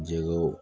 Jɛgɛwu